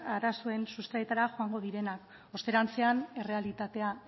arazoen sustraietara joango direnak osterantzean errealitatea